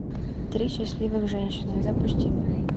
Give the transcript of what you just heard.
три счастливых женщины запусти